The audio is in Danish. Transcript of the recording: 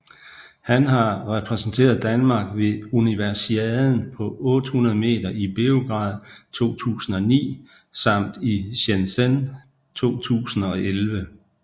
Han har repræsenteret Danmark ved Universiaden på 800 meter i Beograd 2009 samt i Shenzhen 2011